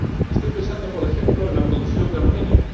Estoy pensando, por ejemplo, en la producción de aluminio.